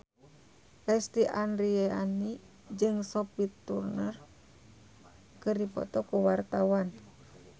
Lesti Andryani jeung Sophie Turner keur dipoto ku wartawan